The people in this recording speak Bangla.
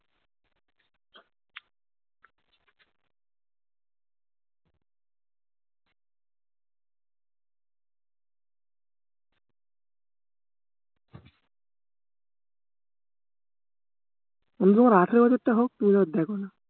তুমি তোমার আঠারো বছরটা হোক তুমি দেখোনা